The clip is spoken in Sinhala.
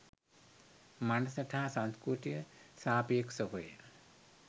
මනසට හා සංස්කෘතියට සාපේක්‍ෂව ය.